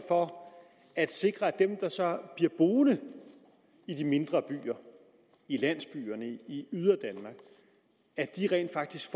for at sikre at de der så blive boende i de mindre byer i landsbyerne i yderdanmark rent faktisk